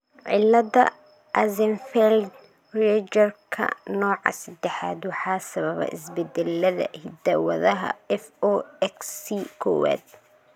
cilada Axenfeld Riegerka nooca sedexaad waxaa sababa isbeddellada hidda-wadaha FOXC kowaad.